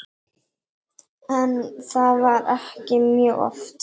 En það var ekki mjög oft.